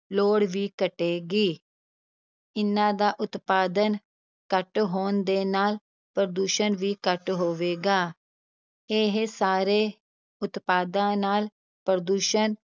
ਲੋੜ ਵੀ ਘਟੇਗੀ ਇਨ੍ਹਾਂ ਦਾ ਉਤਪਾਦਨ ਘੱਟ ਹੋਣ ਦੇ ਨਾਲ ਪ੍ਰਦੂਸ਼ਣ ਵੀ ਘੱਟ ਹੋਵੇਗਾ, ਇਹ ਸਾਰੇ ਉਤਪਾਦਾਂ ਨਾਲ ਪ੍ਰਦੂਸ਼ਣ